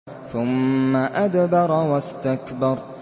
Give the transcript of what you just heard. ثُمَّ أَدْبَرَ وَاسْتَكْبَرَ